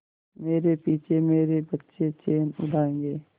मेरे पीछे मेरे बच्चे चैन उड़ायेंगे